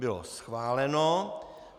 Bylo schváleno.